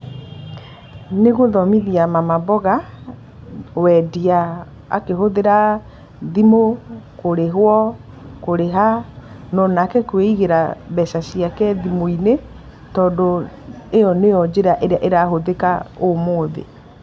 Nĩ gũthomithia mama mboga wendia akĩhũthĩra thimũ kũrĩhwo kũrĩha na onake kwĩigĩra mbeca ciake thimũ-inĩ, tondũ ĩyo nĩyo njĩra ĩrĩa ĩrahũthĩka ũmũthĩ.